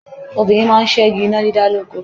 Obìnrin máa ń ṣẹ́gi iná dídá lóko.